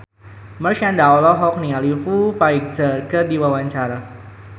Marshanda olohok ningali Foo Fighter keur diwawancara